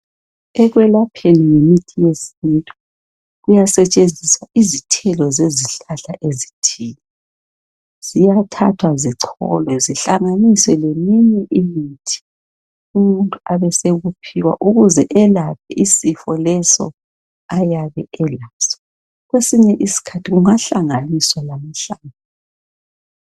ekwelapheni ngemithi yesintu kuyasetshenziswa izithelo zezihlahla ziyathathwa zicolwe zihlanganiswe leminye imithi umuntu abesekuphiwa ukuze elape isifo leso ayabe elaso kwesinye isikhathi kungahlanganiswa lamahlamvu